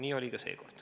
Nii oli ka seekord.